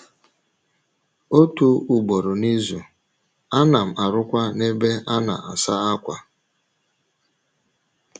Otu ugboro n’izu, ana m arụkwa n’ebe a na - asa ákwà.